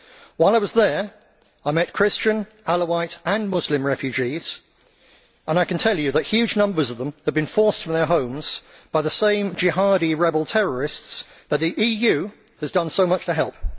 While I was there, I met Christian, Alawite and Muslim refugees. I can tell you that huge numbers of them have been forced from their homes by the same Jihadi rebel terrorists that the EU has done so much to help.